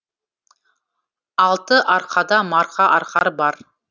алты арқада марқа арқар бар